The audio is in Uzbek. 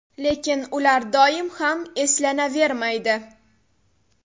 Lekin ular doim ham eslanavermaydi.